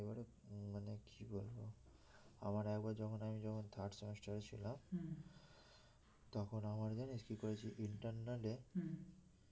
আমার একবার যখন আমি যখন third semester এ ছিলাম তখন আমার জানি কি করেছে internal এ